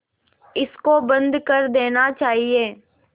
इसको बंद कर देना चाहिए